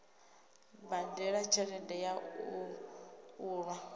badela tshelede ya u unḓa